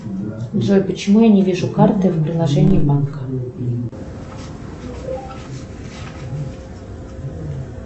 джой почему я не вижу карты в приложении банка